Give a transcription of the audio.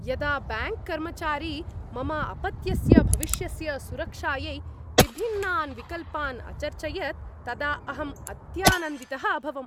यदा ब्याङ्क् कर्मचारी मम अपत्यस्य भविष्यस्य सुरक्षायै विभिन्नान् विकल्पान् अचर्चयत् तदा अहं अत्यानन्दितः अभवम्।